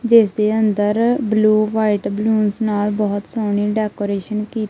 ਜਿਸਦੇ ਅੰਦਰ blue white balloons ਨਾਲ ਬਹੁਤ ਸੋਹਣੀ ਡੈਕੋਰੇਸ਼ਨ ਕੀ--